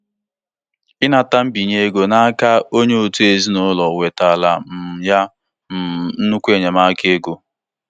Nsogbu nke ego ezinụlọ ahụ nwere buliri elu nke ukwuu site na na nkwado mmesapụ aka batara na mberede.